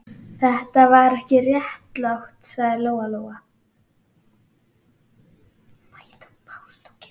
Þetta er ekki réttlátt, sagði Lóa-Lóa.